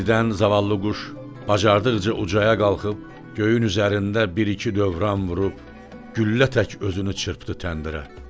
Birdən zavallı quş bacardıqca ucaya qalxıb göyün üzərində bir-iki dövran vurub güllə tək özünü çırpdı təndirə.